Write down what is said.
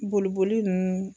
Boliboli ninnu